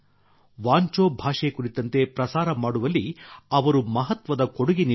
ವಾಂಚೋ ಭಾಷೆ ಕುರಿತಂತೆ ಪ್ರಸಾರ ಮಾಡುವಲ್ಲಿ ಅವರು ಮಹತ್ವದ ಕೊಡುಗೆ ನೀಡಿದ್ದಾರೆ